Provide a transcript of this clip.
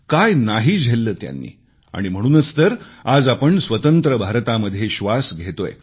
काय नाही झेलले त्यांनी आणि म्हणूनच तर आज आपण स्वतंत्र भारतामध्ये श्वास घेतोय